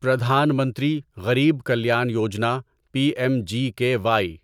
Pradhan Mantri Garib Kalyan Yojana P M G K Y